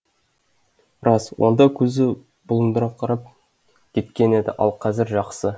рас онда көзі бұлдыраңқырап кеткен еді ал қазір жақсы